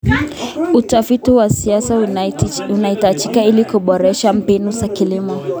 Utafiti wa kisasa unahitajika ili kuboresha mbinu za kilimo.